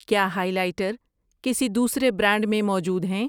کیا highlighter کسی دوسرے برانڈ میں موجود ہیں؟